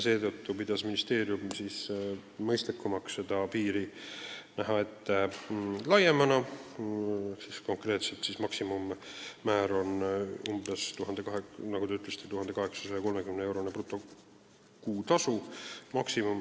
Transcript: Seetõttu pidas ministeerium mõistlikuks kehtestada kõrgem piir: konkreetselt on maksimummäär, nagu te ütlesite, 1803-eurone brutokuutasu.